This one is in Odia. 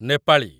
ନେପାଳୀ